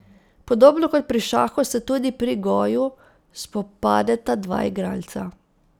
Podobno kot pri šahu se tudi pri goju spopadeta dva igralca.